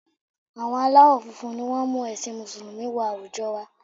Àwọn aláwọ̀ funfun ni wọ́n mú ẹ̀sìn Mùsùlùmí wọ àwùjọ wa